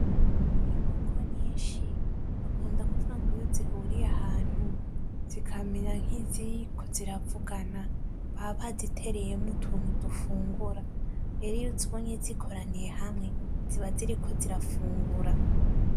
Inkoko nyinshi, bakunda kuvuga ngo iyo zihuriye ahantu zikamera nkiziriko ziravugana baba bazitereyemwo utuntu dufungura. Rero iyo uzibonye zikoraniye hamwe ziba ziriko zirafungura.